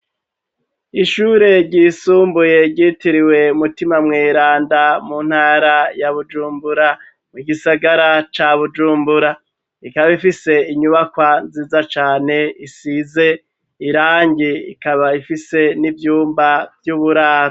Ishure ryisumbuye ryitiriwe mutima mwiranda mu ntara ya bujumbura mu igisagara ca bujumbura ikaba ifise inyubakwa nziza cane isize irangi ikaba ifise n'ivyumba vy'uburara.